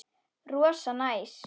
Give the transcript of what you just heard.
Rosa næs.